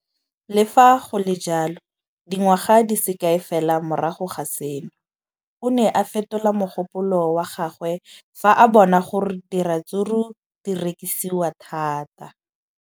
Le fa go le jalo, dingwaga di se kae fela morago ga seno, o ne a fetola mogopolo wa gagwe fa a bona gore diratsuru di rekisiwa thata.